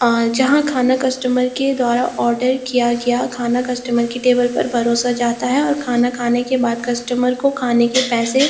अ जहाँ खाना कस्टमर के द्वारा ऑर्डर किया गया खाना कस्टमर की टेबल पर परोसा जाता है और खाना खाने के बाद कस्टमर को खाने के पैसे --